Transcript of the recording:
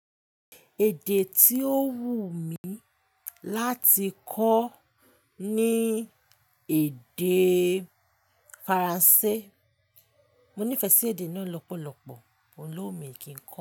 Èdè tí ó wù mí láti kọ́ ni èdè Faransé. Mo nífẹ̀ẹ́ sí èdè náà lọ́pọ̀lọpọ̀, òun ló wún mi kí n kọ́.